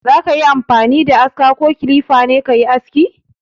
Za ka yi amfani da aska ko kilifa ne ka yi aski?